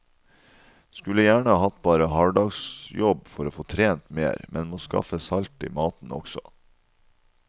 Skulle gjerne hatt bare halvdagsjobb for å få trent mer, men må skaffe salt i maten også.